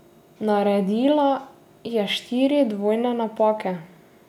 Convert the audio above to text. Naredila je štiri dvojne napake.